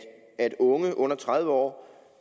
unge under tredive år